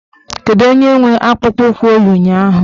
Kedụ onye nwe akpụkpọụkwụ o yi ụnyaahụ?